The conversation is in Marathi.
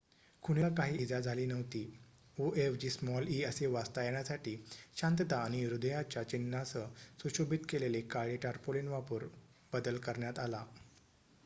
"खुणेला काही इजा झाली नव्हती; "o" ऐवजी स्मॉल "e" असे वाचता येण्यासाठी शांतता आणि हृदयाच्या चिन्हांसह सुशोभित केलेले काळे टार्पोलीन वापरून बदल करण्यात आला.